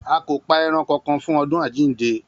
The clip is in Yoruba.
A kò pa e̩ran kankan fún odún àjíǹde